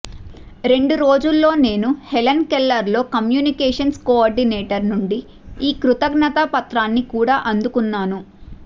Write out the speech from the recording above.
రెండు రోజుల్లో నేను హెలెన్ కెల్లెర్లో కమ్యూనికేషన్స్ కోఆర్డినేటర్ నుండి ఈ కృతజ్ఞతా పత్రాన్ని కూడా అందుకున్నాను